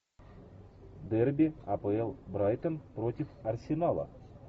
дерби апл брайтон против арсенала